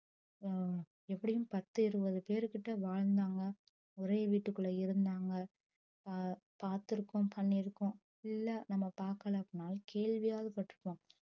ஒ எப்டியும் பத்து இருபது பேருகிட்ட வாழ்ந்தாங்க ஒரே வீட்டுக்குள்ள இருந்தாங்க அஹ் பாத்துருக்கோ பன்னிருக்கோ இல்ல நம்ப பாக்கல அப்டின்னாலும் கேள்வியாது பற்றுபோம்